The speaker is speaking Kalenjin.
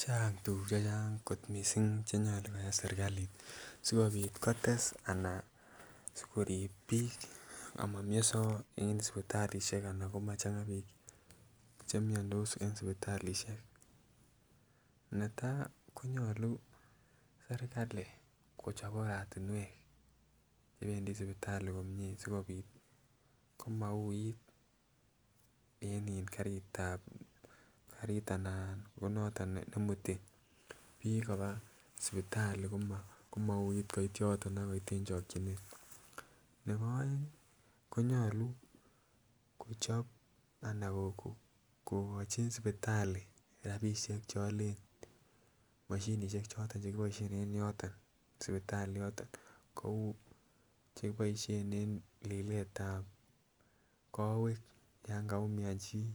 Chang tukuk chechang kot missing chenyolu koyai sirkalit sikopit kotes anan sikorib bik amomioso en sipitalishek anan komachanga bik chemiondos en sipitalishek. Netai konyolu sirkali kochop oretunwek chependii sipitali sikopit komouit en iih karitab karit anaan konoton nemutai bik koba sipitali komouit kot yoton akoit en chokinet, nebo oengi konyolu kochop anan ko kokochi sipitali rabishek cheolen moshinishek choton chekiboishen en yoton sipitali yoton kou chekiboishen en lilet tab kowek yon kaumian chii